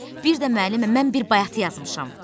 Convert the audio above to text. Bir də müəllimə mən bir bayatı yazmışam.